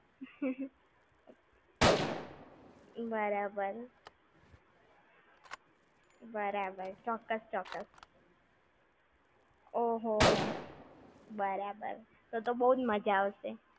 બરાબર. બરાબર, ચોક્કસ ચોક્કસ. ઓહો હો. બરાબર. તો તો બવ જ મજા આવશે.